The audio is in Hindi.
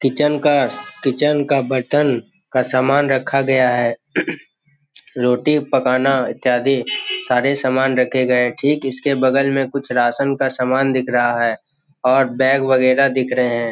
किचन का किचन का बटन का सामान रखा गया है रोटी पकाना इत्यादि सारे सामान रखे गए हैं ठीक उसके बगल में कुछ राशन का समान दिख रहा है और बैग वगैरा दिख रहा है।